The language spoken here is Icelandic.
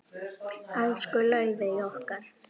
Elsku Laufey okkar.